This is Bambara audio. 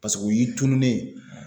Paseke o y'i tununen ye.